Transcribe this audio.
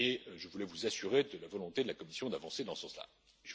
Je voulais vous assurer de la volonté de la Commission d'avancer dans ce sens là.